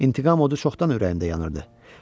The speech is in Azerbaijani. İntiqam odu çoxdan ürəyimdə yanırdı.